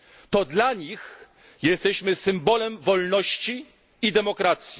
To dla nich jesteśmy symbolem wolności i demokracji.